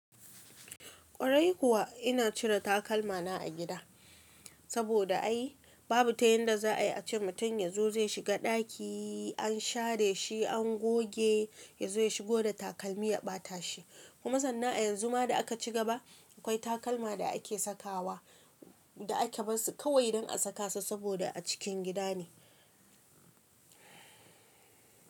Kwarai kuwa ina cire takalmana a gida, saboda ai babu ta yanda za a yi ace mutum ya zo zai shiga ɗaki, an share shi, an goge, ya zo ya shigo da takalmi ya ɓata shi. Kuma sannan a yanzu ma da aka cigaba akwai takalma da ake sakawa da aka barsu kawai dan a saka su saboda a cikin gida ne.